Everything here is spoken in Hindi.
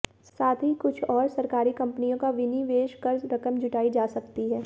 साथ ही कुछ और सरकारी कंपनियों का विनिवेश कर रकम जुटाई जा सकती है